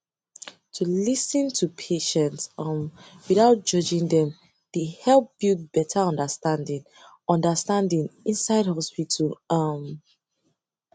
to lis ten to patient um without judging dem dey help build better understanding understanding inside hospital um